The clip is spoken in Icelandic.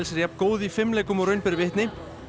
jafn góð í fimleikum og raun ber vitni